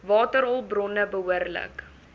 waterhulp bronne behoorlik